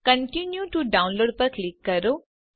continue to download button પર click કરો